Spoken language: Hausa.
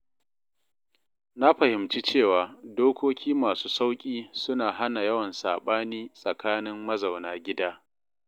Na fahimci cewa dokoki masu sauƙi suna hana yawan saɓani tsakanin mazauna gida.